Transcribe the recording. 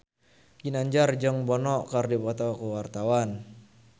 Ginanjar jeung Bono keur dipoto ku wartawan